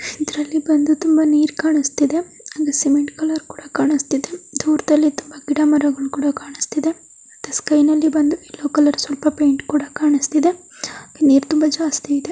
ಇದ್ರಲ್ಲಿ ಬಂದು ತುಂಬ ನೀರ್ ಕಾಣಿಸ್ತಿದೆ. ಅದು ಸಿಮೆಂಟ್ ಕಲರ್ ಕೂಡ ಕಾಣಿಸ್ತಿದೆ. ದೂರ್ದಲ್ಲಿ ತುಂಬ ಗಿಡ ಮರಗಳು ಕೂಡ ಕಾಣಿಸ್ತಿದೆ. ಮತ್ತೆ ಸ್ಕೈ ನಲ್ಲಿ ಬಂದು ಎಲ್ಲೋ ಕಲರ್ ಸ್ವಲ್ಪ ಪೈಂಟ್ ಕೂಡ ಕಾಣಿಸ್ತಿದೆ. ನೀರ್ ತುಂಬ ಜಾಸ್ತಿ ಇದೆ.